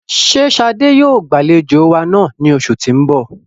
Ṣe Shade yoo gbalejo wa naa ni oṣu ti n bọ?